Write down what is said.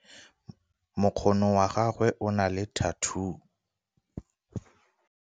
mokgono wa gagwe o na le thathuu